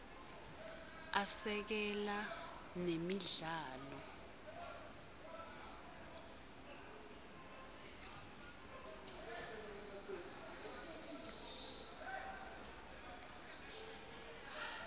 asekela nemidlalo